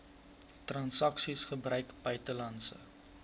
transaksies gebruik buitelandse